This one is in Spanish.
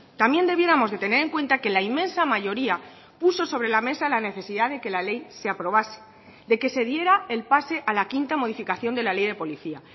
también debiéramos de tener en cuenta que la inmensa mayoría puso sobre la mesa la necesidad de que la ley se aprobase de que se diera el pase a la quinta modificación de la ley de policía